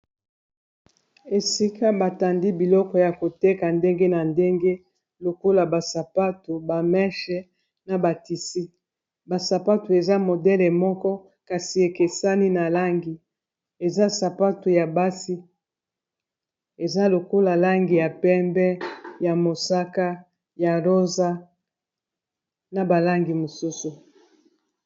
Esika batandi biloko ya koteka ndenge na ndenge lokola basapatu, bameche na batisi basapatu eza modele moko kasi ekesani na langi eza sapatu ya basi eza lokola langi ya pembe, ya mosaka ya rosa na balangi mosusu.